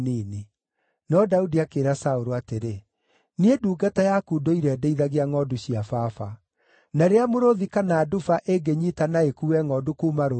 No Daudi akĩĩra Saũlũ atĩrĩ, “Niĩ ndungata yaku ndũire ndĩithagia ngʼondu cia baba. Na rĩrĩa mũrũũthi kana nduba ĩngĩnyiita na ĩkuue ngʼondu kuuma rũũru-inĩ,